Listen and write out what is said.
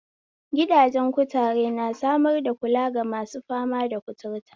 Gidajen kutare, na samar da kula gamasu fama da kuturta,